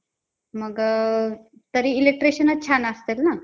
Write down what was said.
मग तरी electricianच छान असतात ना?